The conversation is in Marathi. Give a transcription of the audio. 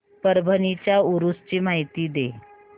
परभणी च्या उरूस ची माहिती दे